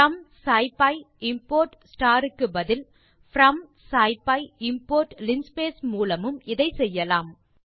from scipy import க்கு பதில் from scipy import linspace மூலமும் இதை செய்யலாம்